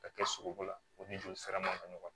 Ka kɛ sogoko la o ni joli sira man ca